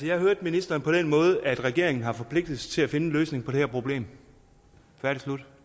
jeg hørte ministeren på den måde at regeringen har forpligtet sig til at finde en løsning på det her problem færdig slut